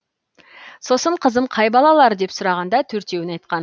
сосын қызым қай балалар деп сұрағанда төртеуін айтқан